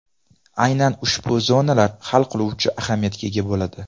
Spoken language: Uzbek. Aynan ushbu zonalar hal qiluvchi ahamiyatga ega bo‘ladi.